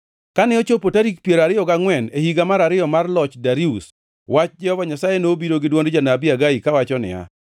Kane ochopo tarik piero ariyo gangʼwen e higa mar ariyo mar loch Darius, wach Jehova Nyasaye nobiro gi dwond janabi Hagai kawacho niya: